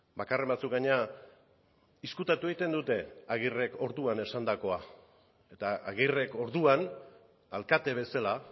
bakarren batzuk gainera ezkutatu egiten dute agirrek orduan esandakoa eta agirrek orduan alkate bezala